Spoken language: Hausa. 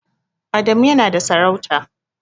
Adamu yana da sarauta.